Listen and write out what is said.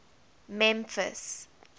memphis